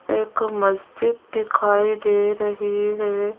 एक मस्जिद दिखाई दे रही है।